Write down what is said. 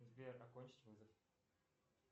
сбер окончить вызов